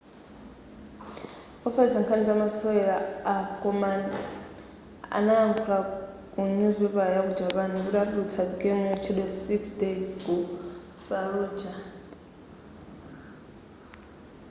ofalitsa nkhani za masewera a konami analankhula ku nyuzipapala ya ku japan kuti atulutsa game yotchedwa six days ku falluja